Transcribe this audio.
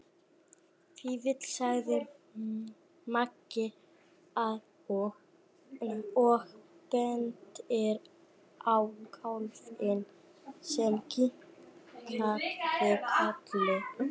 Fífill, sagði Maggi og benti á kálfinn sem kinkaði kolli.